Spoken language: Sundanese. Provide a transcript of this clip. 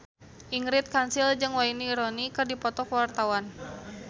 Ingrid Kansil jeung Wayne Rooney keur dipoto ku wartawan